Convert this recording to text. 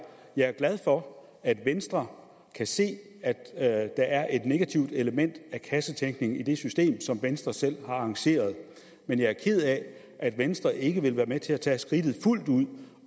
jeg er glad for at venstre kan se at der er et negativt element af kassetænkning i det system som venstre selv har arrangeret men jeg er ked af at venstre ikke vil være med til at tage skridtet fuldt ud